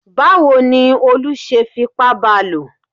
Báwo ni Olú ṣe fipá ba lò?